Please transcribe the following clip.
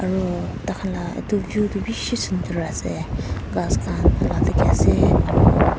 aro takan la etu view tu bishi sundor ase kas kan hala diki ase aro.